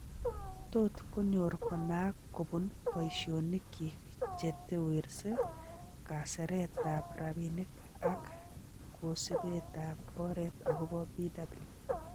Tot konyor konaak kupuun boishonik kyik che tewersie kaseretab rabinik ak kasibetab oret agopo Bw.